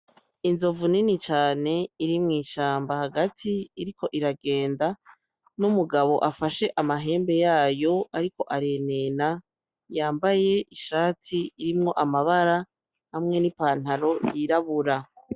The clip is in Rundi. Inzovu nini cane iri mw’ishamba hagati iriko iragenda, n’umugabo afashe amahembe yayo ariko arenena. Yambaye ishati irimwo amabara hamwe n’ipantaro yirabura.